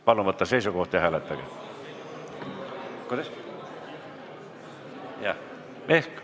Palun võtta seisukoht ja hääletage!